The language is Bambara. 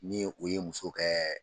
Ni o ye musow kɛ